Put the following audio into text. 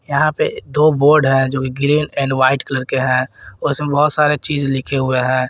यहां पे दो बोड है जो ग्रीन एंड व्हाइट कलर के हैं उसमें बहुत सारे चीज लिखे हुए हैं।